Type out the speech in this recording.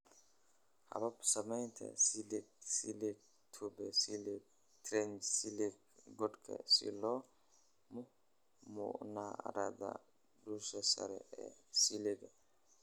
"Habab-samaynta silage: Silage tube, silage trench, silage godka, silo munaaradda, dusha sare ee silage"